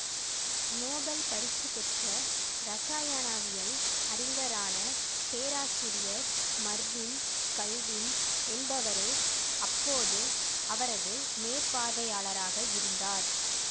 Nobel பரிசு பெற்ற இரசாயானாவியல் அறிஞரான பேராசிரியர் மர்வின் கல்வின் என்பவரே அப்போது அவரது மேற்பார்வையாளராக இருந்தார்